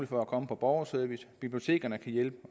for at komme på borgerservice bibliotekerne kan hjælpe